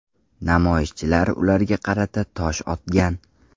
Namoyishchilar ularga qarata tosh otgan.